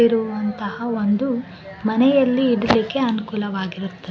ಇರುವಂತಹ ಒಂದು ಮನೆಯಲ್ಲಿ ಇಡಲಿಕ್ಕೆ ಅನುಕೂಲವಾಗಿರುತ್ತದೆ .